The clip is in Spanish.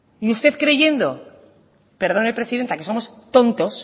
y usted creyendo perdone presidenta que somos tontos